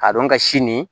K'a dɔn ka si nin